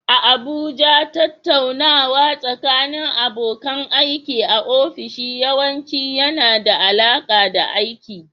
A Abuja, tattaunawa tsakanin abokan aiki a ofisoshi yawanci yana da alaƙa da aiki.